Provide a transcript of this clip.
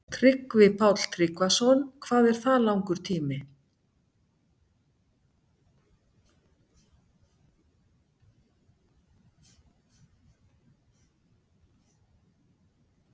Tryggvi Páll Tryggvason: Hvað er það langur tími?